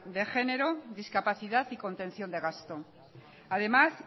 de género discapacidad y contención de gasto además